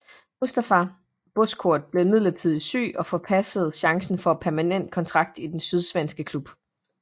Mustafa Bozkurt blev imidlertidigt syg og forpassede chancen for en permanent kontrakt i den sydsvenske klub